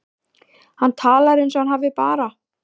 Hann talar eins og hann hafi bara.